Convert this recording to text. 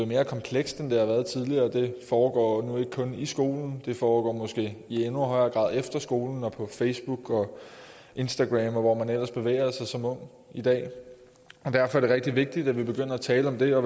mere komplekst end det har været tidligere det foregår nu ikke kun i skolen det foregår måske i endnu højere grad efter skolen og på facebook og instagram og hvor man ellers bevæger sig som ung i dag derfor er det rigtig vigtigt at vi begynder at tale om det og